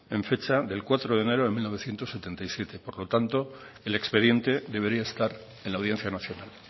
en fecha de cuatro de enero de mil novecientos setenta y siete por lo tanto el expediente debería estar en la audiencia nacional